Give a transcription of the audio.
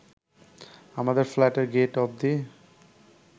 আমাদের ফ্ল্যাটের গেট অবধি